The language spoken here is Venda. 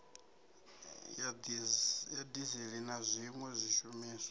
ya dizili na zwiwe zwishumiswa